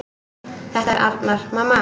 Þetta er Arnar, mamma!